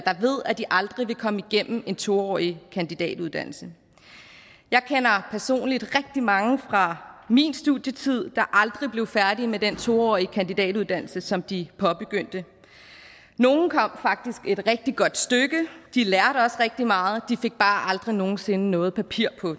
ved at de aldrig vil komme igennem en to årig kandidatuddannelse jeg kender personligt rigtig mange fra min studietid der aldrig blev færdige med den to årige kandidatuddannelse som de påbegyndte nogle kom faktisk et rigtig godt stykke de lærte også rigtig meget de fik bare aldrig nogen sinde noget papir på